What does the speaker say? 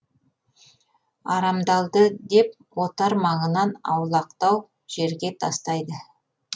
арамдалды деп отар маңынан аулақтау жерге тастайды